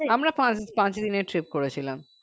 আমরা পাঁচ দি পাঁচ দিনের trip করেছিলাম